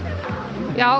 já